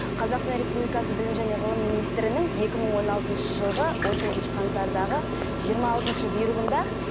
қазақстан республикасы білім және ғылым министірінің екі мың он алтыншы жылғы он төртінші қаңтардағы жиырма алтыншы бұйрығында